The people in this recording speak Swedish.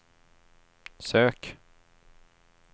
sök